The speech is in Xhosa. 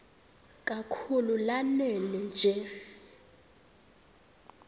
kakhulu lanela nje